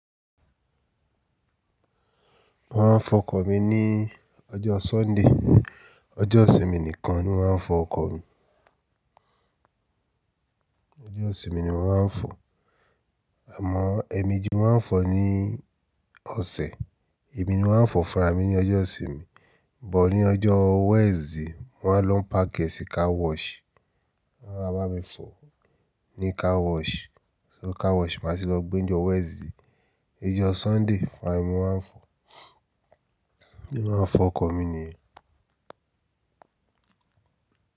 Wọ́n fọ ọkọ̀ mi ní ọjọ́ Sunday. Ọjọ́ ìsinmi nìkan ni wọ́n ń fọ ọkọ̀ mi. Ọjọ́ ìsinmi ni wọ́n ń fọ. Àmọ́, èmejì ni wọ́n fọ ní ọ̀sẹ̀. Èmi ni mo ma ńfọ fúnrami ní ọjọ́ ìsinmi, but ní ọjọ́ Wednesday wọn lọ páki ẹ́ sí car wash. Wọ́n ma bá mi fọ ní car wash, so car wash ni máa tì lọ gbé ní ọjọ́ Wednesday. Ọjọ́ Sunday fúnra mi ni mo ma ńfọ. Bí mo ṣe ma ńfọ ọkọ̀ mi nìyẹn.